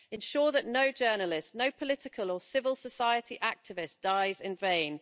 Ensure that no journalist, no political or civil society activist dies in vain.